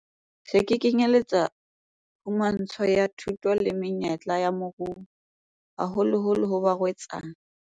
Se kenyeletsa phumantsho ya thuto le menyetla ya moruo, haholoholo ho barwetsana.